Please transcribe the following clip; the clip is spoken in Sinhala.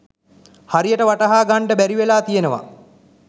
හරියට වටහා ගන්ඩ බැරිවෙලා තියනවා.